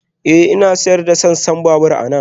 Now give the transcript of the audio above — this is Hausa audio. Ee, Ina sayar da sassan babur anan